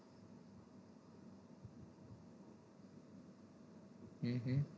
હમ હા